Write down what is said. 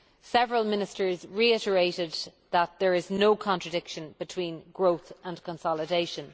Several ministers reiterated that there is no contradiction between growth and consolidation.